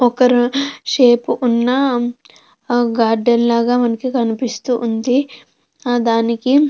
ఒకరు షేప్ ఉన్న గార్డెన్ లాగా మనకి కనిపిస్తూ ఉంది. ఆ దానికి --